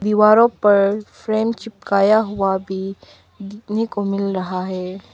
दीवारों पर फ्रेम चिपकाया हुआ भी देखने को मिल रहा है।